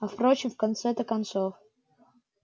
а впрочем в конце-то концов